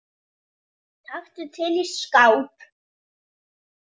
Taktu til í skáp.